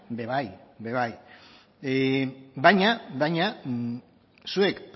ere bai baina zuek